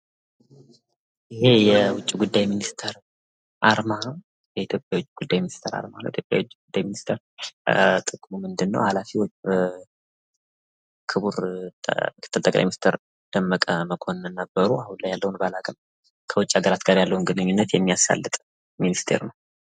ይህ የዉጭ ጉዳይ ሚኒስተር አርማ ነው። የኢትዮጵያ ዉጭ ጉዳይ ሚኒስተር አርማ የኢትዮጵያ የዉጭ ጉዳይ ሚኒስተር ጥቅሙ ምንድን ነው? ሃላፊነቱስ? ክብሩ ም/ጠቅላይ ሚስተር ደመቀ መኮነን ነበሩ። አሁን ላይ ያለዉን ባላቅም ከዉጭ ሃገራት ያለውን ግንኙነት የሚያሳልጥ ሚኒስተር ነው።